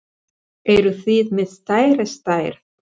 Eruð þið með stærri stærð?